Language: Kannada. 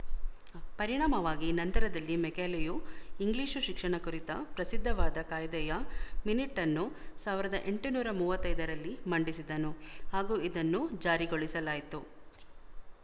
ಪರಿಣಾಮವಾಗಿ ನಂತರದಲ್ಲಿ ಮೆಕಾಲೆಯು ಇಂಗ್ಲಿಶು ಶಿಕ್ಷಣ ಕುರಿತ ಪ್ರಸಿದ್ಧವಾದ ಕಾಯ್ದೆಯ ಮಿನಿಟನ್ನು ಸಾವಿರದ ಎಂಟುನೂರ ಮೂವತ್ತ್ ಐದರಲ್ಲಿ ಮಂಡಿಸಿದನು ಹಾಗೂ ಇದನ್ನು ಜಾರಿಗೊಳಿಸಲಾಯ್ತು